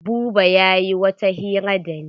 Buba yayi wata hira da ni.